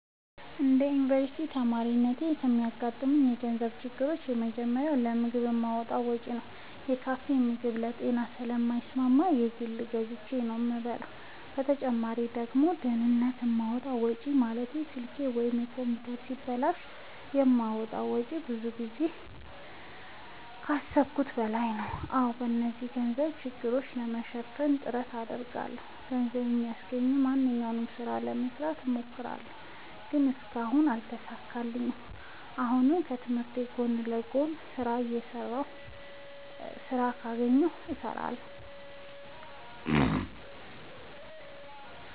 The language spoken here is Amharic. እንደ አንድ ዮኒቨርስቲ ተማሪነቴ የሚያጋጥሙኝ የገንዘብ ችግሮች የመጀመሪያው ለምግብ የማወጣው ወጪ ነው። የካፌ ምግብ ለጤናዬ ስለማይስማማኝ በግል ገዝቼ ነው የምበላው በተጨማሪ ደግሞ ድንገት የማወጣው ወጪ ማለትም ስልኬ ወይም ኮምፒውተሬ ሲበላሽ የማወጣው ወጪ ብዙ ጊዜ ከአሠብኩት በላይ ነው። አዎ እነዚህን የገንዘብ ችግሮች ለማሸነፍ ጥረት አደርጋለሁ። ገንዘብ የሚያስገኘኝን ማንኛውንም ስራ ለመስራት እሞክራለሁ። ግን እስካሁን አልተሳካልኝም። አሁንም ከትምህርቴ ጎን ለጎን ስራ ካገኘሁ እሠራለሁ።